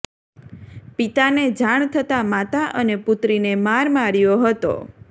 પિતાને જાણ થતાં માતા અને પુત્રીને માર માર્યો હતો